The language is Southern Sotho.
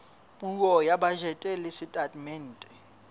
puo ya bajete le setatemente